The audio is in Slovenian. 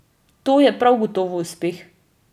To je prav gotovo uspeh.